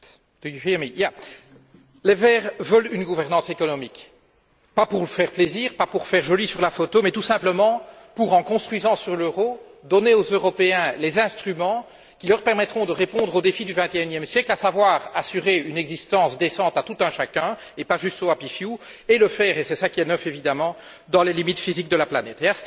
Monsieur le Président, les Verts veulent une gouvernance économique. Pas pour faire plaisir, pas pour faire joli sur la photo, mais tout simplement pour, en bâtissant sur l'euro, donner aux Européens les instruments qui leur permettront de répondre aux défis du XXIe siècle, à savoir assurer une existence décente à tout un chacun, et pas juste aux et le faire, et c'est ça qui est neuf évidemment, dans les limites physiques de la planète.